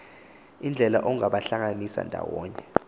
iindlela ongabahlanganisa ndawonye